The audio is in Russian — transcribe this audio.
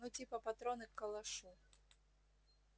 ну типа патроны к калашу